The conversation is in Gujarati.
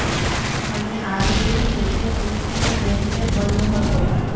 અને આવી જ રીતે તે કુસ્તી નો ચેમ્પિયન બન્યો હતો